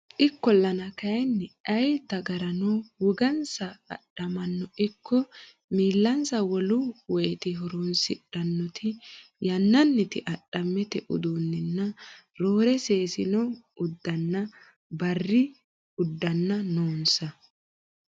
Ikkollana kayinni ayee dagaranno wogansa adhamaano ikko miillansa wolu woyti horonsidhannoti yannanniti adhammete uddannanni roore seessino uddanna barri uddanna noonsa.